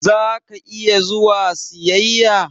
Za ka iya zuwa siyaƴa?